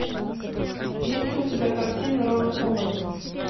есть ли у тебя картина рона ховарда